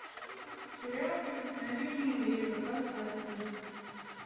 сериал прикосновение ветра поставь мне